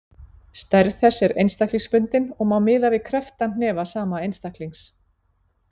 Stærð þess er einstaklingsbundin og má miða við krepptan hnefa sama einstaklings.